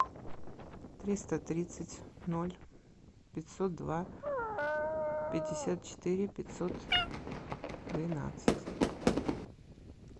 триста тридцать ноль пятьсот два пятьдесят четыре пятьсот двенадцать